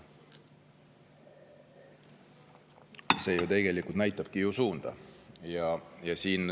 See ju tegelikult näitabki suunda.